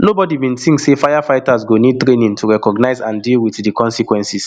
nobody bin tink say firefighters go need training to recognise and deal wit di consequences